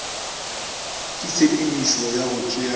ka tshepedišo ya go tšea